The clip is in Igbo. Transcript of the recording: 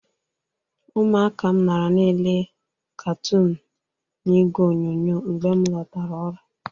Ụmụaka m nara na-ele katoọnụ n'igwe onyonyo mgbe m lọtara ọrụ.